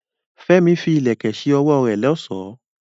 Fẹ́mi fi ìlẹ̀kẹ̀ ṣe ọwọ́ rẹ̀ lọ́ṣọ̀ọ́.